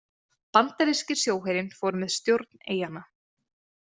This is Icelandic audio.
Bandaríski sjóherinn fór með stjórn eyjanna.